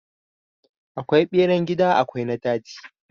Akwai beran gida akwai na daji.